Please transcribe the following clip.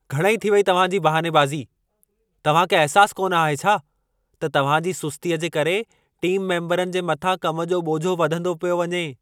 घणई थी वई तव्हां जी बहाने बाज़ी! तव्हां खे अहिसास कोन आहे छा त तव्हां जी सुस्तीअ जे करे टीम मेम्बरनि जे मथां कम जो ॿोझो वधंदो पियो वञे।